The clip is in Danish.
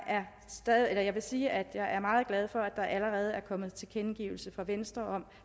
vil sige at jeg er meget glad for at der allerede er kommet tilkendegivelse fra venstre om